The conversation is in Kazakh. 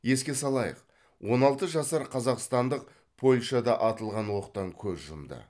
еске салайық он алты жасар қазақстандық польшада атылған оқтан көз жұмды